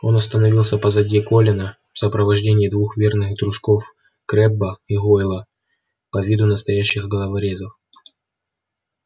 он остановился позади колина в сопровождении двух верных дружков крэбба и гойла по виду настоящих головорезов